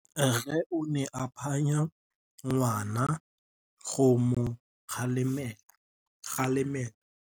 Rre o ne a phanya ngwana go mo galemela.